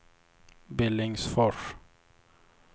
Billingsfors